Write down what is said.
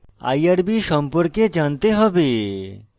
irb সম্পর্কে জানতে হবে